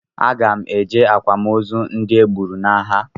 Aga m eje akwamozu ndị e gburu n'agha